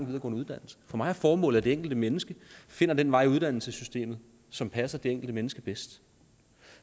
uddannelse for mig er formålet at det enkelte mennesker finder den vej i uddannelsessystemet som passer det enkelte menneske bedst